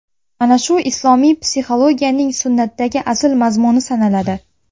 Mana shu islomiy psixologiyaning sunnatdagi asl mazmuni sanaladi.